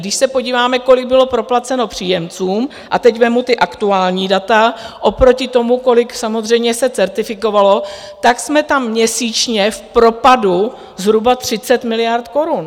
Když se podíváme, kolik bylo proplaceno příjemcům, a teď vezmu ta aktuální data, oproti tomu, kolik samozřejmě se certifikovalo, tak jsme tam měsíčně v propadu zhruba 30 miliard korun.